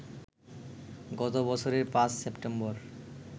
গত বছরের ৫ সেপ্টেম্বর